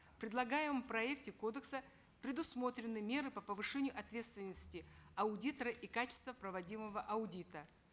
в предлагаемом проекте кодекса предусмотрены меры по повышению ответственности аудитора и качества проводимого аудита